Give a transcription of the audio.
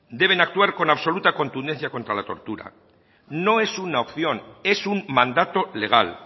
deben actuar con absoluta contundencia contra la tortura no es una opción es un mandato legal